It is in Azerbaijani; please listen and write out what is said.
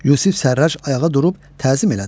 Yusif Sərrac ayağa durub təzim elədi.